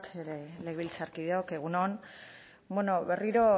legebiltzarkideok egun on bueno berriro